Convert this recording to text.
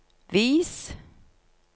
vis